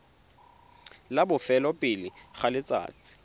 la bofelo pele ga letsatsi